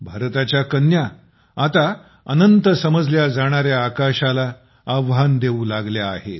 भारताच्या कन्या आता अनंत समजल्या जाणार्या आकाशाला आव्हान देऊ लागल्या आहेत